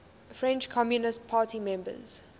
french communist party members